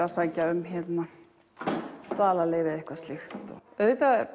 að sækja um dvalarleyfi eða eitthvað slíkt auðvitað